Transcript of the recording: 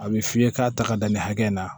A bɛ f'i ye k'a ta ka da nin hakɛ in na